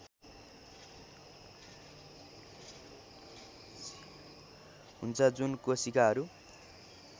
हुन्छ जुन कोशिकाहरू